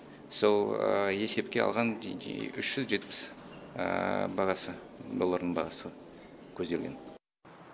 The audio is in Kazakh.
сол есепке алған үш жүз жетпіс бағасы доллардың бағасы көзделген